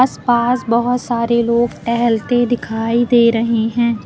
आस पास बहोत सारे लोग टहलते दिखाई दे रहे हैं।